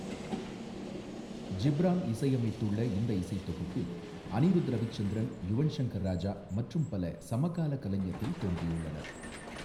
ஜிப்ரான் இசையமைத்துள்ள இந்த இசைத் தொகுப்பில் அனிருத் ரவிச்சந்திரன், யுவன் ஷங்கர் ராஜா மற்றும் பல சமகாலக் கலைஞர்கள் தோன்றியுள்ளனர்.